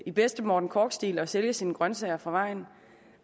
i bedste morten korch stil og sælge sine grønsager fra vejen